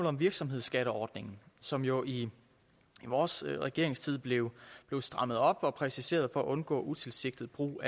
om virksomhedsskatteordningen som jo i vores regeringstid blev strammet op og præciseret for at undgå en utilsigtet brug